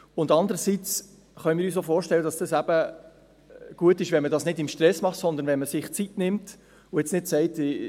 Zum andern können wir uns auch vorstellen, dass es eben gut ist, wenn man es nicht im Stress macht, sondern wenn man sich Zeit nimmt und jetzt nicht sagt: